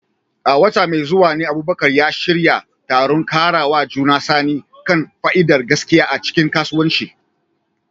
A wata mai zuwa ne Abubakar ya shirya taron ƙarawa juna sani kan fa'idar gaskiya a cikin kasuwanci.